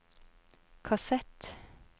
kassett